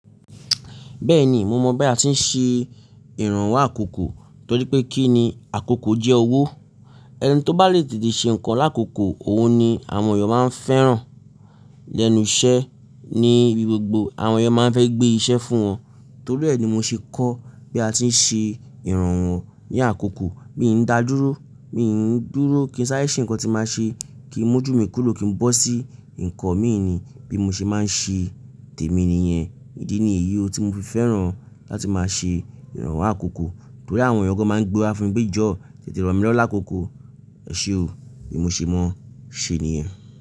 Bẹ́ẹ̀ni, mo mọ̀ bí a ti ń ṣe ìrànwọ́ àkókò torí pé kí ni àkókò jẹ́ owó. Ẹni tí ó bá lè tètè ṣe nǹkan lákòókò, òun ni àwọn èèyàn máa ń fẹ́ràn. Lẹ́nu iṣẹ́ ní ibi gbogbo àwọn èèyàn máa ń fẹ́ gbé iṣẹ́ fún wọn. Torí ẹ ni mo ṣe kọ́ bí a ti ń ṣe ìrànwọ́ ní àkókò. Mi n dá dúró, mi n dúró kí n sáre ṣe ǹkan tí màá ṣe, kí ń mójú mi kúrò kí ń bọ́ sí ǹkan mí ì ni bí mo ṣe máa ń ṣe tèmi nìyẹn. Idí ni èyí tí mo fi fẹ́ràn láti máa ṣe ìrànwọ́ àkókò torí àwọn èèyàn gan máa ń gbewa fún mi pe joo tètè rọ̀ mí lọ lákòókò. Ẹ ṣe o, bí mo ṣe mọ̀ ṣe nìyẹn.